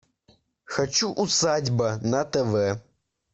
хочу усадьба на тв